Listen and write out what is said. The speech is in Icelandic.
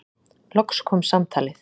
Loks kom samtalið.